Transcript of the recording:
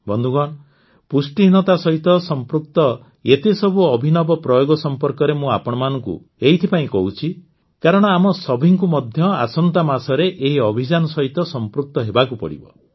ବନ୍ଧୁଗଣ ପୁଷ୍ଟିହୀନତା ସହିତ ସମ୍ପୃକ୍ତ ଏତେସବୁ ଅଭିନବ ପ୍ରୟୋଗ ସମ୍ପର୍କରେ ମୁଁ ଆପଣଙ୍କୁ ଏଇଥିପାଇଁ କହୁଛି କାରଣ ଆମ ସଭିଙ୍କୁ ମଧ୍ୟ ଆସନ୍ତା ମାସରେ ଏହି ଅଭିଯାନ ସହିତ ସମ୍ପୃକ୍ତ ହେବାକୁ ପଡ଼ିବ